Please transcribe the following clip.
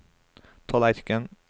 tallerken